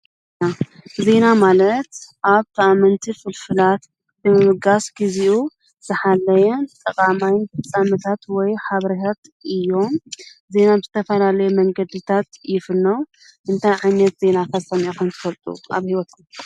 ናዜና ማለት ኣብ ተኣመንቲ ፍልፍላት ድምብጋስ ጊዜኡ ዝኃለየን ጠቓማይን ፍጻምታት ወይ ሃብርሀት እዮምዜና ም ዝተፈላለየ መንገድታት ይፍኖ እንታይ ዓኛት ዜና ኸተምኾን ዝፈልጡ ኣብ ሕይወት?